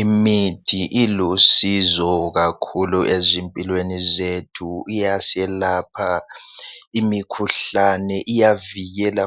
Imithi ilusizo kakhulu ezimpilweni zethu iyaselepha imikhuhlane iyavikela